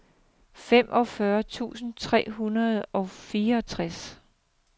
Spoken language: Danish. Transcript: femogfyrre tusind tre hundrede og fireogtres